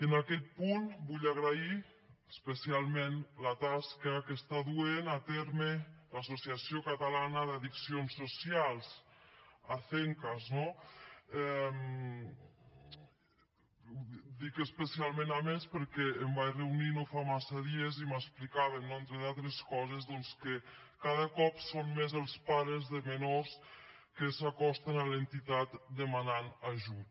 en aquest punt vull agrair especialment la tasca que està duent a terme l’associació catalana d’addiccions socials acencas no dic especialment a més perquè m’hi vaig reunir no fa massa dies i m’explicaven no entre d’altres coses doncs que cada cop són més els pares de menors que s’acosten a l’entitat demanant ajut